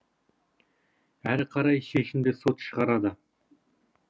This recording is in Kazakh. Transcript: әрі қарай шешімді сот шығарады